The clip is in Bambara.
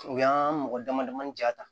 U y'an mɔgɔ damadamanin ja ta